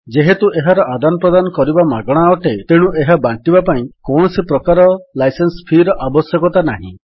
ଯେହେତୁ ଏହାର ଆଦାନ ପ୍ରଦାନ କରିବା ମାଗଣା ଅଟେ ତେଣୁ ଏହା ବାଣ୍ଟିବା ପାଇଁ କୌଣସି ପ୍ରକାରର ଲାଇସେନ୍ସ ଫୀ ର ଆବଶ୍ୟକତା ନାହିଁ